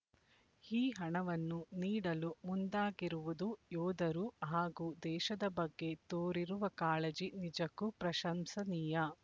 ಈ ಹಣವನ್ನು ನೀಡಲು ಮುಂದಾಗಿರುವುದು ಯೋಧರು ಹಾಗೂ ದೇಶದ ಬಗ್ಗೆ ತೋರಿರುವ ಕಾಳಜಿ ನಿಜಕ್ಕೂ ಪ್ರಶಂಸನೀಯ